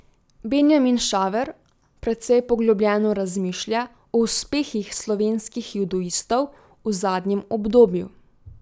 Benjamin Šaver precej poglobljeno razmišlja o uspehih slovenskih judoistov v zadnjem obdobju.